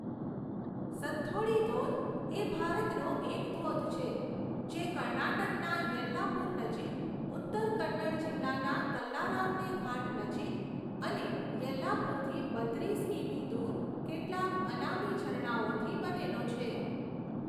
સથોડ્ડી ધોધ એ ભારતનો એક ધોધ છે, જે કર્ણાટકના યેલ્લાપુર નજીક, ઉત્તર કન્નડ જિલ્લાના કલ્લારામને ઘાટ નજીક અને યેલ્લાપુરથી બત્રીસ કિમી દૂર કેટલાક અનામી ઝરણાઓથી બનેલો છે.